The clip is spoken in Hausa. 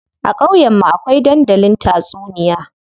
A ƙauyen mu akwai dandalin tatsuniya.